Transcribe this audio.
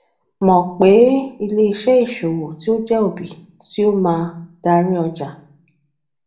mọ pe ileiṣẹ isowo ti o jẹ obi ti o maa dari ọja